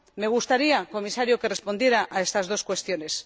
Me gustaría, señor Comisario, que respondiera a estas dos cuestiones.